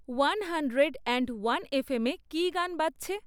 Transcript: one hundred and one এফএমে কী গান বাজছে